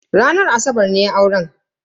Ranar asabar ne auren.